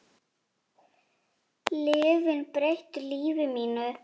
Lyfin breyttu lífi mínu.